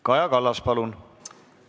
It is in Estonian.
Kaja Kallas, palun!